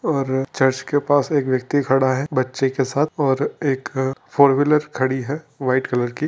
और चर्च के पास एक ब्यक्ति खारा है बच्चे के साथ और एक फोरऊ व्हीलर खरी है व्हाइट की।